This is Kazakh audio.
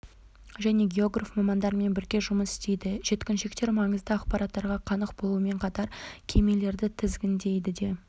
және географ мамандарымен бірге жұмыс істейді жеткіншектер маңызды ақпараттарға қанық болумен қатар кемелерді тізгіндей де